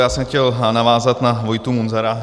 Já jsem chtěl navázat na Vojtu Munzara.